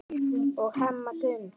og Hemma Gunn.